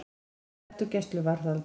Sleppt úr gæsluvarðhaldi